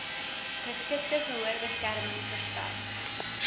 geskikte gehoorbeskerming verskaf